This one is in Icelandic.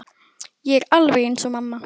Ég er alveg eins og mamma.